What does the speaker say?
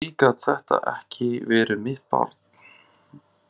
Því gat þetta ekki verið mitt barn.